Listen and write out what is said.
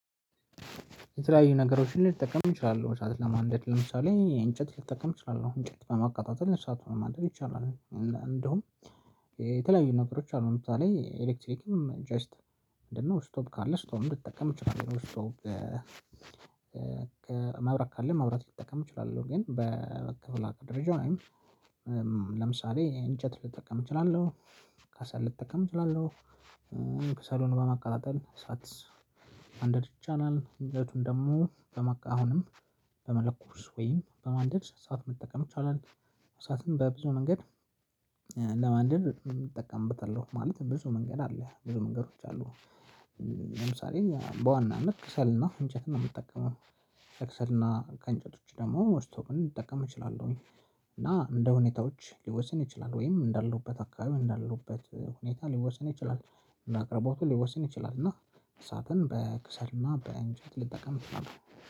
የተለያዩ ነገሮችን ልጠቀም እችላለሁ እሳት ለማንደድ ለምሳሌ እንጨት ልጠቀም እችላለሁ እንጨት በማቀጣጠል እሳት ለማንደድ ይቻላል። እንዲሁም የተለያዩ ነገሮች አሉ። ምንድነው? ኤሌክትሪክም ጀስት እንደነው ስቶቭ ካለ ስቶቭ ልጠቀም እችላለሁ ስቶቭ መብራት ካለ መብራት ልጠቀም እችላለሁ። ግን በክፍለ ሀገር ደረጃ ለምሳሌ እንጨት ልጠቀም እችላለሁ። ከሰል ልጠቀም እችላለሁ። ከሰሉን በማቀጣጠል እሳት ማንደድ ይቻላል። እንጨቱን ደግሞ አሁንም በመለኮስ ወይም በማንደድ እሳቱን መጠቀም ይቻላል። እሳትን በብዙ መንገድ ለማንደድ እጠቀምበታለሁ ማለት ብዙ መንገድ አለ ብዙ መንገዶች አሉ። ለምሳሌ በዋናነት ክሰልና እንጨት ነው ምጠቀመው። ከክሰልና ከእንጨት ውጪ ደግሞ ስቶቭም ልጠቀም እችላለሁኝ። እና እንደ ሁኔታዎች ሊወሰን ይችላል ወይም እንዳለውበት አካባቢ እንዳለውበት ሁኔታ ሊወሰን ይችላል። ለአቅርቦቱ ሊወሰን ይችላል። እና እሳትን በክሰልና በእንጨት ልጠቀም እችላለሁ